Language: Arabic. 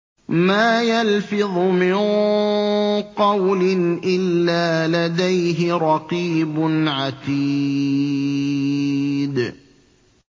مَّا يَلْفِظُ مِن قَوْلٍ إِلَّا لَدَيْهِ رَقِيبٌ عَتِيدٌ